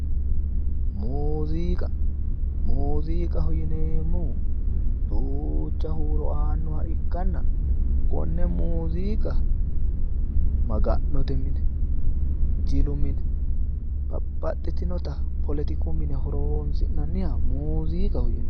muziiqa muziiqaho yineemmohu duucha huuro aannoha ikkanna konne muziiqa maga'note mine babbaxitino poletiku mine horonsi'nanniha muziiqaho yinanni.